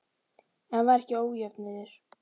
En var ekki ójöfnuður?